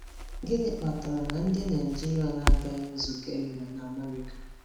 Gịnị kpatara na ndị Naijiria na-agaghị nzukọ e mere na America?